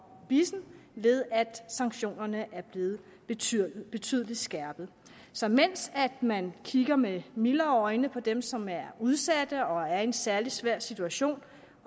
bissen ved at sanktionerne er blevet betydelig betydelig skærpet så mens man kigger med mildere øjne på dem som er udsatte og er i en særlig svær situation